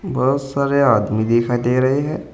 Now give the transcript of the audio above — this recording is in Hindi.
बहुत सारे आदमी दिखाई दे रहे हैं।